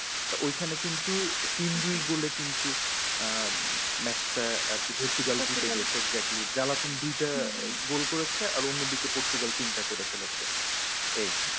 তো ওই খানে কিন্তু তিন দুই গোলে কিন্তু আহ match টা আরকি পর্তুগাল জিতে গেছে exactly জ্বালাতন দুইটা আহ গোল করেছে আর অন্যদিকে পর্তুগাল তিনটা করে ফেলেছে। এই